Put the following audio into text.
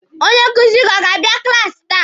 Onye nkuzi ọ ga-abịa klaasi taa?